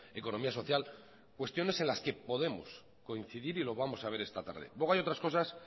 economía social cuestiones en las que podemos coincidir y lo vamos a ver esta tarde luego hay otras cosas